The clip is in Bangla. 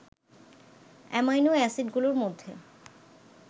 অ্যামিনো অ্যাসিডগুলোর মধ্যে